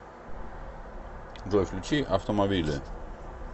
джой включи автомобиле